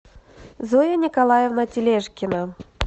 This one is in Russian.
зоя николаевна тележкина